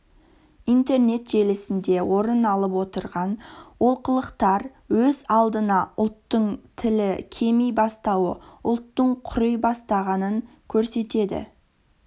интернет желісінде орын алып отырған олқылықтар өз алдына ұлттың тілі кеми бастауы ұлттың құри бастағанын көрсетеді